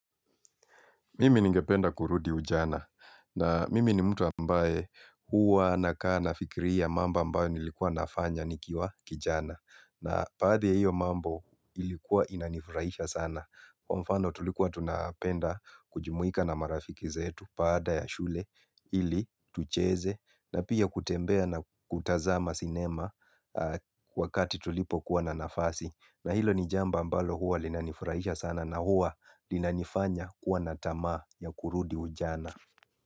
Mimi ningependa kurudi ujana na mimi ni mtu ambaye huwa nakaa nafikiria mambo ambayo nilikuwa nafanya nikiwa kijana na baadhi ya hiyo mambo ilikuwa inanifurahisha sana. Kwa mfano, tulikuwa tunapenda kujumuika na marafiki zetu baada ya shule ili tucheze na pia kutembea na kutazama sinema wakati tulipo kuwa na nafasi. Na hilo ni jambo ambalo huwa linanifurahisha sana na huwa linanifanya kuwa na tamaa ya kurudi ujana.